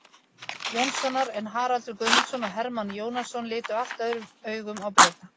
Jónssonar, en Haraldur Guðmundsson og Hermann Jónasson litu allt öðrum augum á Breta.